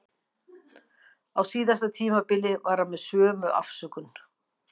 Á síðasta tímabili var hann með sömu afsökun.